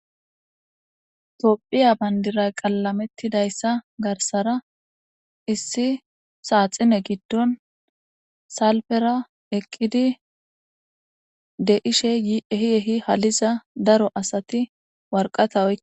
Toophiya bandiray qallamettidayssa garsara issi saaxine giddon salfera eqqidi de ishe yehi ehi haliza daro asati warqata oke.